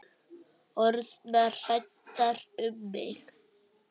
Orðnar hræddar um mig.